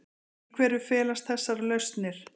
Í hverju felast þessar lausnir?